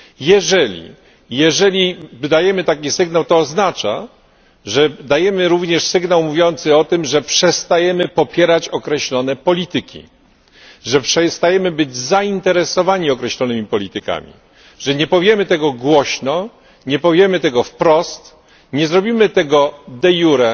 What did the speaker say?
Jeżeli dajemy taki sygnał, to oznacza, że dajemy również sygnał mówiący o tym, że przestajemy popierać określone polityki, że przestajemy być zainteresowani określonymi politykami, że nie powiemy tego głośno, nie powiemy tego wprost, nie zrobimy tego de iure,